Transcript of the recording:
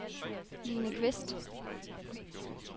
Line Kvist